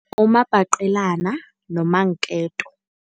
Umabhaqelana nomanketo.